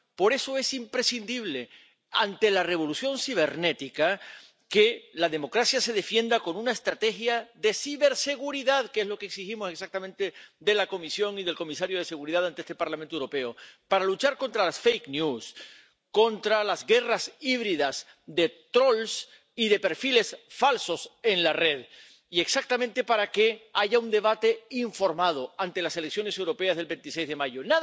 Por eso es imprescindible, ante la revolución cibernética, que la democracia se defienda con una estrategia de ciberseguridad, que es lo que exigimos exactamente de la Comisión y del comisario de Seguridad ante este Parlamento Europeo. Para luchar contra las fake news contra las guerras híbridas de troles y de perfiles falsos en la red. Y exactamente para que haya un debate informado ante las elecciones europeas del 26 de mayo.